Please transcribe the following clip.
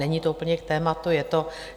Není to úplně k tématu, je to...